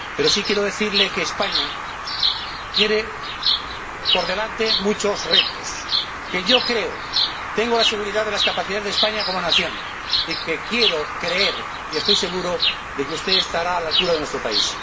Pero sí quiero decirle que España tiene por delante muchos retos, que tengo la seguridad de las capacidades de España como nación y que quiero creer, y estoy seguro, de que usted estará a la altura de nuestro país.